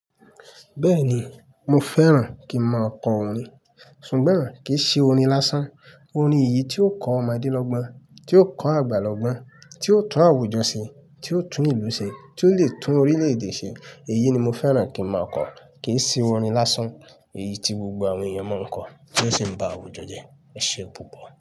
Bẹ́ẹ̀ni, mo fẹ́ràn kí ń mọ ọkọ̀ orin, ṣùgbọ́n kì í ṣe orin lásán. Orin èyí tí ó kọ́ ọmọdé lọ́gbọ́n, tí ó kọ́ àgbà lọ́gbọ́n, tí ó tún àwùjọ ṣe, tí ó tún ìlú ṣe, tí ó le tún orílẹ̀-èdè ṣe, èyí ni mo fẹ́ràn kí ń mọ ọkọ̀, kì í ṣe orin lásán. Èyí tí gbogbo àwọn èèyàn mọ̀ ń kọ tí ó sì ń bá àwùjọ jẹ́, ẹṣẹ gbogbo.